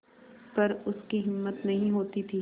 पर उसकी हिम्मत नहीं होती थी